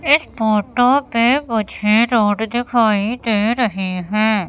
इस फोटो पे मुझे रोड दिखाई दे रहे हैं।